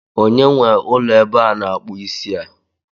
Onye nwe ụlọ ebe a na-akpụ isi a?